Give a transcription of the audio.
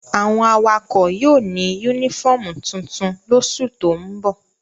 Awon awakọ yóò ni unifọmú tuntun losu to n bo